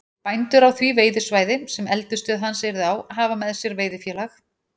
Bændur á því veiðisvæði, sem eldisstöð hans yrði á, hafa með sér veiðifélag